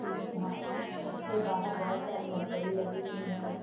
इस यहाँ इ -इसके बाहर बोहोत सारी मरकरी लगी हुई हैं।